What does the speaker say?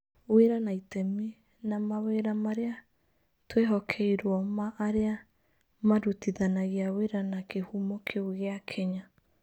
Wĩra na itemi na mawĩra marĩa twĩhokeirũo ma arĩa marutithanagia wĩra na kīhumo kĩu gīa Kenya.